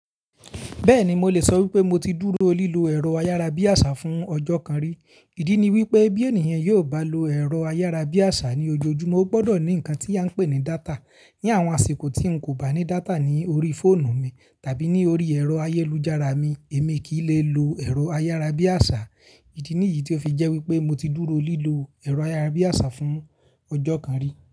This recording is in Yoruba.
Bẹ́ẹ̀ni mo lè sọ wípé mo ti dúró lílo ẹ̀rọ ayárabíàṣá fún ọjọ́ kan rí. Ìdí ni wípé bí ènìyàn yóò ba lo ẹ̀rọ ayárabíàṣá ní ojoojúmọ́ ó gbọ́dọ̀ ní ǹnkan tí a ń pè ní data. Ni àwọn àsìkò tí n kò bá ní data ní orí fóònù mi tàbí ní orí ẹ̀rọ ayélujára mi èmi kì í lè lo ẹ̀rọ ayárabíàṣá. Ìdí nìyí tí ó fi jẹ́ wípé mo ti dúró lílo ẹ̀rọ ayárabíàṣá fún ọjọ́ kan rí.